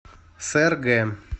сэргэ